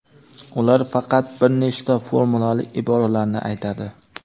ular faqat bir nechta formulali iboralarni aytadi.